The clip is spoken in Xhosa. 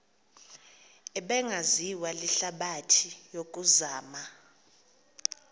ebingaziwa lihlabathi yokuzama